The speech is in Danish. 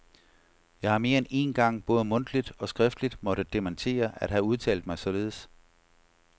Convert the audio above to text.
Jeg har mere end én gang både mundtligt og skriftligt måtte dementere at have udtalt mig således.